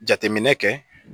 Jateminɛ kɛ